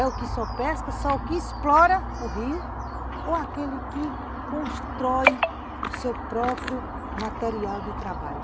É o que só pesca, só o que explora o rio, ou aquele que constrói seu próprio material de trabalho?